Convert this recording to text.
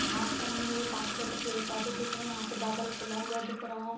घास जमी हुई है काफी ज्यादा पेड़-पौधे दिख रहे हैं यहाँ पे बादल खुला हुआ दिख रहा है।